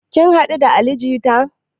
Ka haɗu da ali jita?